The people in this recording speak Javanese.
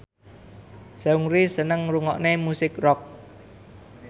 Seungri seneng ngrungokne musik rock